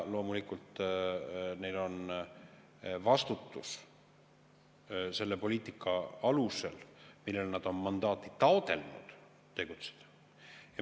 Loomulikult neil on vastutus selle poliitika alusel, millele nad on mandaati taotlenud, tegutseda.